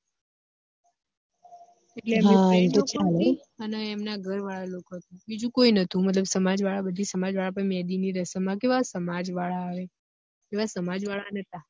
એટલે અને એમના ઘર વાળા લોકો હતા બીજું કોઇ નતું મતલબ સમાજ વાળા બધી સમાજ વાળા અપની બધી મેહદી ની રસમ માં કેવા સમાજ વાળા આવે એવા સમાજ વાળા નતા